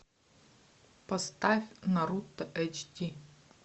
поставь наруто эйч ди